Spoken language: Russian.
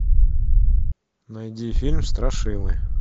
найди фильм страшилы